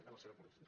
en la seva policia